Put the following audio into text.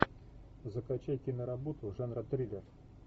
закачай киноработу жанра триллер